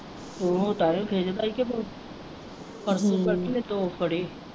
ਤਾਂਹੀ ਖਿਜਦਾ ਹੀ ਤੈਨੂੰ ਪਰਸੋਂ ਚਾਚੀ ਉਹਨੇ ਦੋ ਫੜੇ ਹੀ।